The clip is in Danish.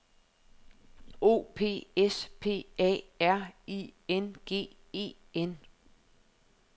O P S P A R I N G E N